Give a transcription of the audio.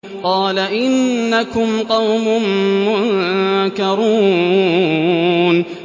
قَالَ إِنَّكُمْ قَوْمٌ مُّنكَرُونَ